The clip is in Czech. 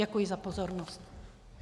Děkuji za pozornost.